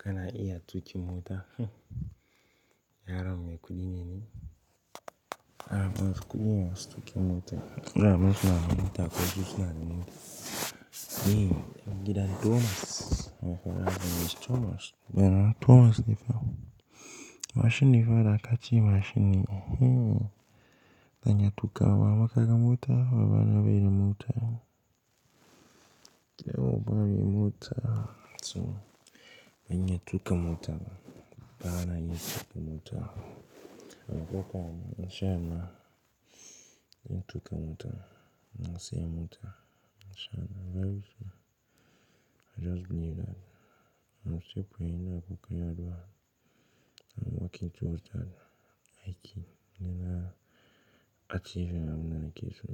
Kana iya tukin mota, yaron mai kuɗi ne ni? Yaran masu kuɗi ne masu tuƙin mota. Yaran suna da mota, ko ke kina da mota. Ni, ni da Thomas Thomas, Thomas ne fa. Mashin ne fa, da kace mashin ne. Hmm. Zan iya tuƙawa, amma kaga mota, ba bana bari mota. Kida mu ba ne mai mota, so ban iya tuka mota ba. Bana yi tuƙa mota. Ana koka ne, in sha Allah, zan tuƙa mota. iN siya mota, in sha Allah i just believe that. Na musu po ina kuka yaduwa. I'm walking towards that hiking. Ina achieving abun da nake so.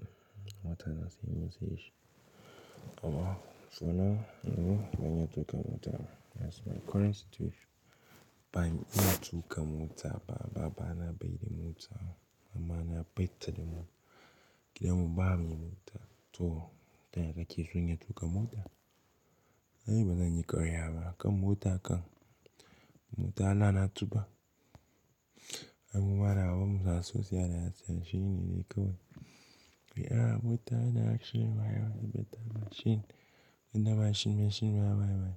Wata na siya na sayeshi. Oh wow! So now, you know, ban iya tuƙa mota ba. That's my current situation. Ban iya tuƙa mota ba. Baba na bai da mota. Mama na ba ta da mota. Gidan mu ba mai mota. To, taya kake so in iya tuƙa mota? Ni ba zan yi ƙarya ba. Kan mota ka. Mota na tuba. Ai mu mara wa musa sosai da yatsa shine dai kawai. Ai ah mota yana shiri ma yawa, beta machine. Ina machine, machine ma ma yi.